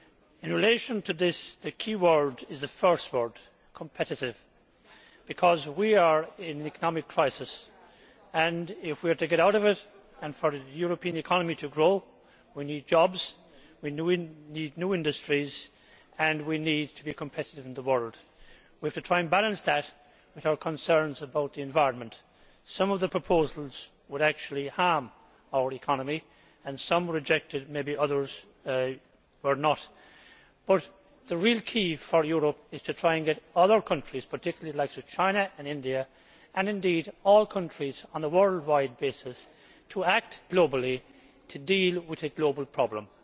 In relation to this, the key word is the first word competitive' because we are in an economic crisis and, if we are to get out of it and for the European economy to grow, we need jobs, we need new industries and we need to be competitive in the world. We have to try and balance that with our concerns about the environment. Some of the proposals would actually harm our economy and some were rejected, maybe others were not. But the real key for Europe is to try and get other countries, particularly the likes of China and India and indeed all countries on a worldwide basis, to act globally to deal with a global problem.